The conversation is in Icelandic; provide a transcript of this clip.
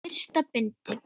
Fyrsta bindi.